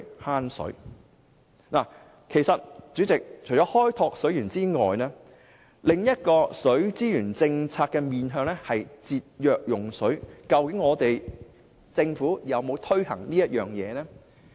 代理主席，其實除了開拓水源外，另一項水資源政策的面向是節約用水，政府去年有否推行這政策呢？